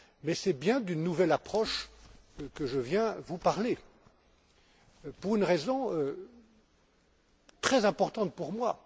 Mais c'est bien d'une nouvelle approche dont je viens vous parler, et ce pour une raison très importante pour moi.